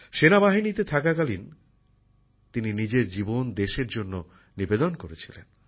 সেনাবাহিনীতে থাকাকালীন তিনি দেশের সেবায় নিয়জিত ছিলেন